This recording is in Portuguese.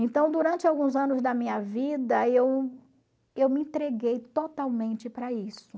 Então, durante alguns anos da minha vida, eu eu me entreguei totalmente para isso.